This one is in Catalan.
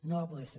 no va poder ser